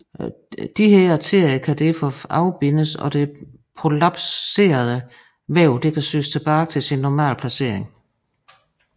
Disse arterier kan derefter afbindes og det prolapserede væv kan sys tilbage til sin normale placering